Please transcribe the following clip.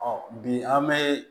Ɔ bi an bɛ